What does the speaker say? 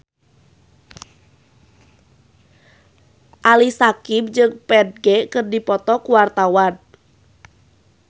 Ali Syakieb jeung Ferdge keur dipoto ku wartawan